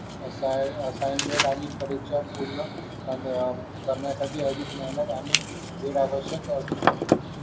assign assignment आणि परीक्षा पूर्ण आणि कर्नाटकी अधिक मेहनत आणि असू शकते